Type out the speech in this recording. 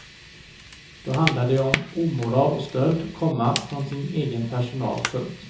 Då handlar det om omoral och stöld, komma från sin egen personal. punkt